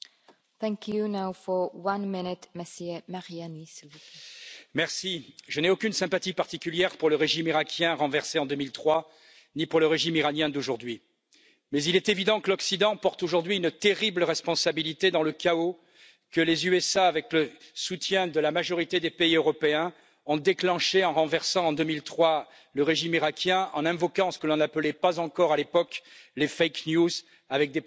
Madame la Présidente, je n'ai aucune sympathie particulière pour le régime iraquien renversé en 2003, ni pour le régime iranien d'aujourd'hui, mais il est évident que l'Occident porte aujourd'hui une terrible responsabilité dans le chaos que les États Unis, avec le soutien de la majorité des pays européens, ont déclenché en renversant en 2003 le régime iraquien, en invoquant ce que l'on n'appelait pas encore à l'époque les des prétendues armes de destruction massive.